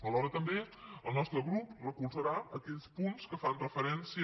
alhora també el nostre grup recolzarà aquells punts que fan referència